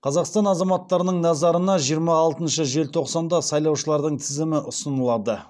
қазақстан азаматтарының назарына жиырма алтыншы желтоқсанда сайлаушылардың тізімі ұсынылады